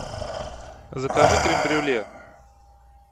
закажи крем брюле